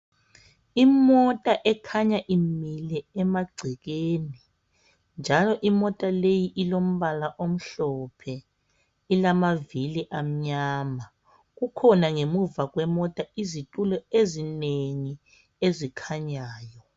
Imota ekhanya imile emangcekeni njalo imota leyi ilombala omhlophe ilamaili amnyama kukhona ngemuva kwemota izitulo ezinengi ezikhanyayo